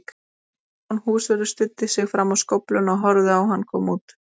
Stefán húsvörður studdi sig fram á skófluna og horfði á hann koma út.